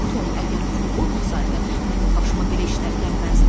Tom, əgər pul olmasaydı, mənim başıma belə işlər gəlməzdi.